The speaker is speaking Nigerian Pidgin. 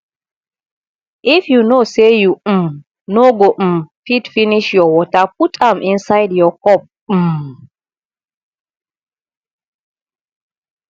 if you know say you um no go um fit finish your water put am inside your cup um